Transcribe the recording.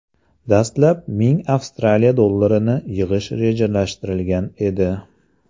Dastlab ming Avstraliya dollarini yig‘ish rejalashtirilgan edi.